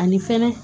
Ani fɛnɛ